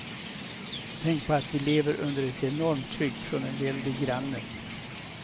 Tänk på att vi lever under ett enormt tryck från en väldig granne.